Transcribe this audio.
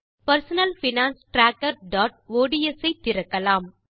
personal finance trackerஒட்ஸ் ஐ திறக்கலாம்